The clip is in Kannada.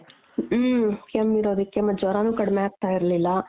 ಹ್ಮ್ಮ್ ಕೆಮ್ಮೀರೋದುಕ್ಕೆ ಮತ್ತ್ ಜ್ವರಾನು ಕಡ್ಮೆ ಆಗ್ತಾ ಇರ್ಲಿಲ್ಲ .